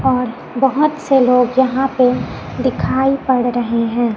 और बहोत से लोग यहां पे दिखाई पड़ रहे हैं।